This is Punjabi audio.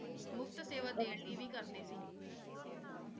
ਮੁਫ਼ਤ ਸੇਵਾ ਦੇਣ ਲਈ ਹੀ ਕਰਦੇ ਸੀ l